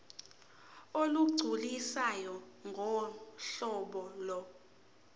olugculisayo ngohlobo lo